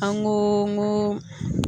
An go n go